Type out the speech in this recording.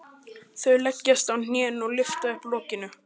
Þau leggjast á hnén og lyfta upp lokinu.